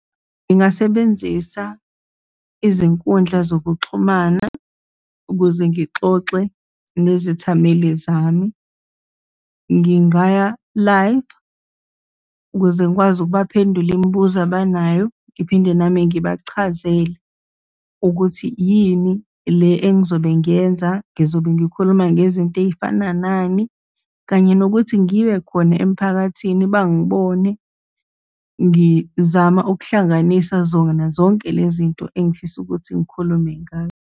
Ngingasebenzisa izinkundla zokuxhumana ukuze ngixoxe nezithameli zami, ngingaya live ukuze ngikwazi ukubaphendula imibuzo abanayo, ngiphinde nami ngibachazele ukuthi yini le engizobe ngiyenza, ngizobe ngikhuluma ngezinto ey'fana nani, kanye nokuthi ngibe khona emphakathini, bangibone, ngizama ukuhlanganisa zona zonke le zinto engifisa ukuthi ngikhulume .